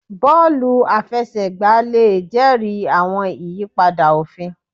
Bọọlu àfẹsẹ̀gbá le jẹri àwọn ìyípadà òfin